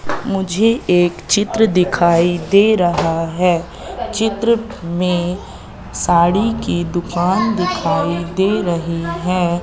मुझे एक चित्र दिखाई दे रहा है चित्र में साड़ी की दुकान दिखाई दे रही है।